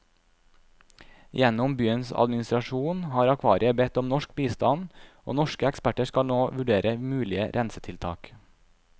Gjennom byens administrasjon har akvariet bedt om norsk bistand, og norske eksperter skal nå vurdere mulige rensetiltak.